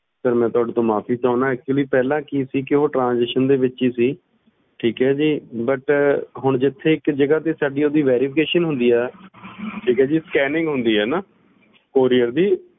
sorry ਮੈਂ ਤੁਹਾਡੇ ਤੋਂ ਮਾਫੀ ਚਾਹੁਣਾ ਪਹਿਲਾਂ ਕਿ ਸੀ ਉਹ transition ਦੇ ਵਿਚ ਹੀ ਸੀ ਠੀਕ ਏ ਜੀ ਹੁਣ ਜਿਥੇ ਇਕ ਜਗਾਹ ਤੇ ਓਥੇ verification ਹੁੰਦੀ ਏ scanning ਹੁੰਦੀ ਏ ਨਾ parcel ਦੀ